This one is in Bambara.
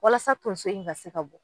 Walasa toson in ka se ka bɔ